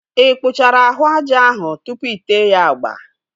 Ị kpụchara ahụ aja ahụ tụpụ ite ya agba?